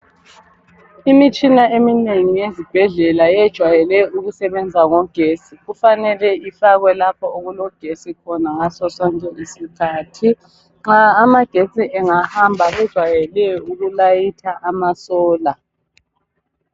Imitshina eminengi yezibhedlela yejwayele ukusebenza ngogetsi. Kufanele ifakwe lapho okulogetsi khona ngaso sonke isikhathi. Nxa amagetsi engahamba kwejwayele ukulayitha amasola.